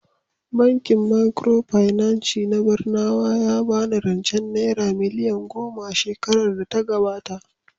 Bankin Micropinaci na Barnawa ya ba ni rancen Naira miliyan goma a shekarar data gabata